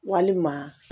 Walima